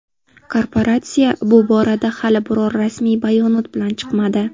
Korporatsiya bu borada hali biror rasmiy bayonot bilan chiqmadi.